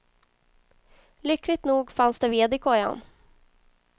Lyckligt nog fanns det ved i kojan.